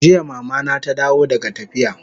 Jiya Mama na ta dawo daga tafiya